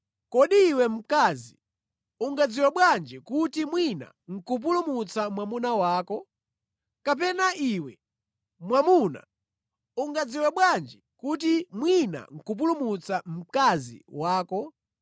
Kodi iwe, mkazi, ungadziwe bwanji kuti mwina nʼkupulumutsa mwamuna wako? Kapena iwe, mwamuna, ungadziwe bwanji kuti mwina nʼkupulumutsa mkazi wako?